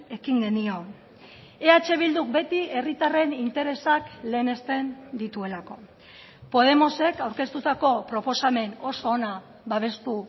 ekin genion eh bilduk beti herritarren interesak lehenesten dituelako podemosek aurkeztutako proposamen oso ona babestu